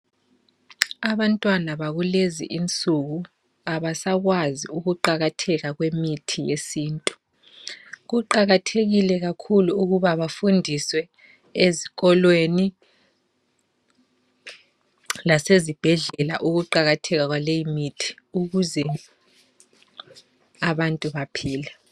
Abantwana bakulezi insuku abasakwazi ukuqakatheka kwemithi yesintu kuqakathekile kakhulu ukuba bafundiswe ezikolweni lase zibhedlela ukuqakatheka kwaleyi mithi ukuze abantu baphile.